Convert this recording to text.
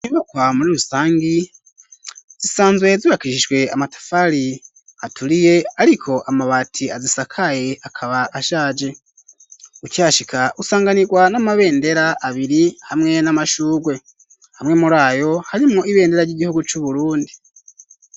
Inyubakwa muri rusangi zisanzwe zubakishijwe amatafari aturiye ariko amabati azisakaye akaba ashaje, ukihashika usanganirwa n'amabendera abiri hamwe n'amashugwe, amwe muri ayo harimo ibendera ry'igihugu c'Uburundi.